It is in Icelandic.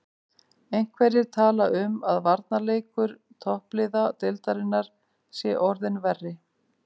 Einhverjir tala um að varnarleikur toppliða deildarinnar sé orðinn verri.